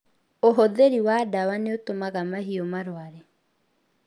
Ũhũthĩri wa dawa nĩ ũtũmaga mahiũ marware